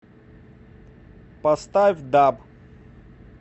поставь даб